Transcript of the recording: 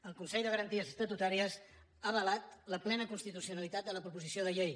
el consell de garanties estatutàries ha avalat la plena constitucionalitat de la proposició de llei